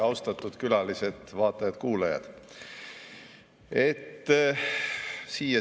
Austatud külalised, vaatajad-kuulajad!